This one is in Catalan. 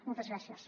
moltes gràcies